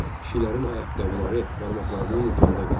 Kişilərin ayaqqabıları barmaqlarının ucunda qaldı.